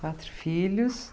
Quatro filhos.